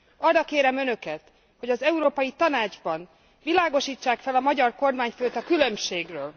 Arra kérem Önöket, hogy az Európai Tanácsban világosítsák fel a magyar kormányfőt a különbségről.